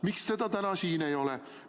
Miks teda täna siin ei ole?